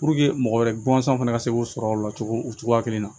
mɔgɔ wɛrɛ guwansan fana ka se k'o sɔrɔ o la cogo o cogoya kelen na